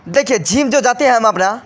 देखिये जिम जो जाते हैं हम अपना --